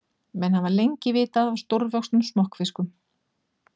Menn hafa lengi vitað af stórvöxnum smokkfiskum.